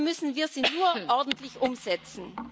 Dafür müssen wir sie nur ordentlich umsetzen.